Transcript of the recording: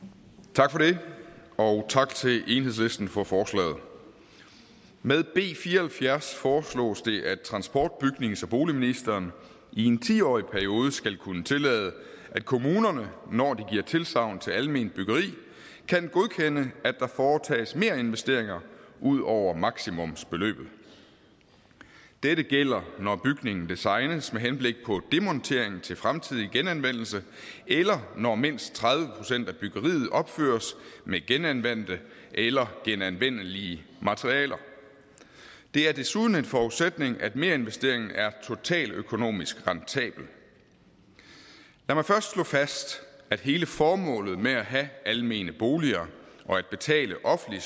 tak for det og tak til enhedslisten for forslaget med b fire og halvfjerds foreslås det at transport bygnings og boligministeren i en ti årig periode skal kunne tillade at kommunerne når de giver tilsagn til alment byggeri kan godkende at der foretages merinvesteringer ud over maksimumsbeløbet dette gælder når bygningen designes med henblik på demontering til fremtidig genanvendelse eller når mindst tredive procent af byggeriet opføres med genanvendte eller genanvendelige materialer det er desuden en forudsætning at merinvesteringen er totaløkonomisk rentabel lad mig først slå fast at hele formålet med at have almene boliger og at betale offentlig